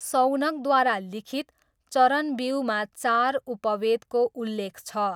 शौनकद्वारा लिखित चरणव्यूहमा चार उपवेदको उल्लेख छ।